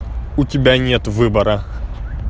у тебя нет выбора